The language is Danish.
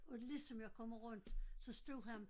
Og lige som jeg kommer rundt så står han